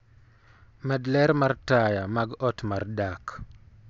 med ler mar taya mag ot mar dak